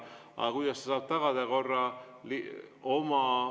Aga kuidas ta saab tagada korra?